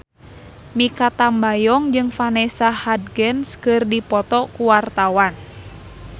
Mikha Tambayong jeung Vanessa Hudgens keur dipoto ku wartawan